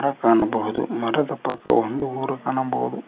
ಕಾಣಬಹುದು ಮರದ ಪಕ್ಕವು ಒಂದು ಊರು ಕಾಣಬಹುದು.